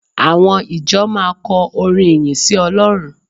Àwọn ìjọ máa kọ orin ìyìn sí Ọlọ́run